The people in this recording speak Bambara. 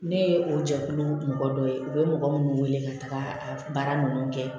Ne ye o jɛkulu mɔgɔ dɔ ye u bɛ mɔgɔ minnu wele ka taga baara ninnu kɛ